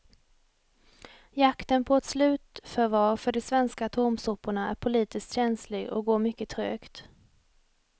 Jakten på ett slutförvar för de svenska atomsoporna är politiskt känslig och går mycket trögt.